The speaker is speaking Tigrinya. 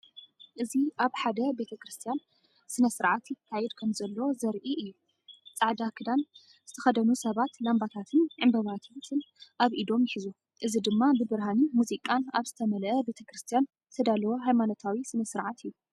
እዚ ኣብ ሓደ ቤተ ክርስቲያን ስነ-ስርዓት ይካየድ ከምዘሎ ዘርኢ እዩ። ጻዕዳ ክዳን ዝተኸድኑ ሰባት ላምባታትን ዕምባባታትን ኣብ ኢዶም ይሕዙ፡ እዚ ድማ ብብርሃንን ሙዚቃን ኣብ ዝተመልአ ቤተክርስትያን ዝተዳለወ ሃይማኖታዊ ስነ-ስርዓት'ዩ።